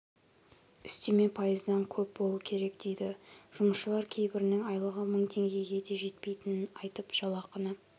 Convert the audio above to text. үстеме пайыздан көп болуы керек дейді жұмысшылар кейбірінің айлығы мың теңгеге де жетпейтінін айтып жалақыны